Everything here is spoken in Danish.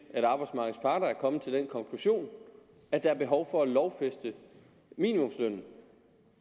at arbejdsmarkedets parter er kommet til den konklusion at der er behov for at lovfæste minimumslønnen